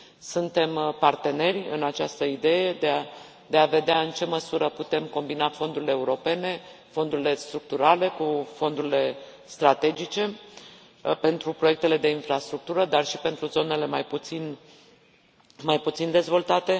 Suntem parteneri în această idee de a vedea în ce măsură putem combina fondurile europene, fondurile structurale cu fondurile strategice pentru proiectele de infrastructură, dar și pentru zonele mai puțin dezvoltate.